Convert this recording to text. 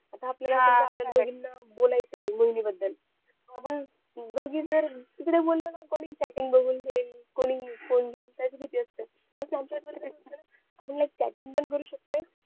आता आपल्याला कसं दोघीना बोलायचंय मोहिनी बद्दल आपण दोघी जर तिकडे बोललो ना कोणी chatting बघून घेईल कोणी phone घेईल त्याची भीती असते इथे snapchat वर आपण likechatting पण करू शकतोय